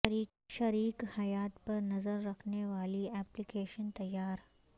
شریک حیات پر نظر رکھنے والی ایپلی کیشن تیار